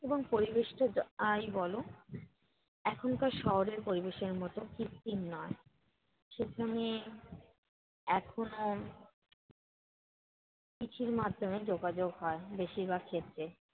এবং পরিবেশটা যাই বলো এখনকার শহেরর পরিবেশের মতো কৃত্রিম নয়। সেখানে এখনও চিঠির মাধ্যমে যোগাযোগ হয়, বেশিরভাগ ক্ষেত্রে।